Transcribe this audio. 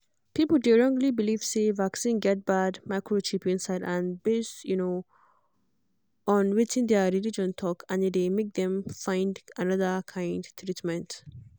people dey wrongly believe say vaccine get bad microchip inside based um on wetin their religion talk and e dey make dem find another kind treatment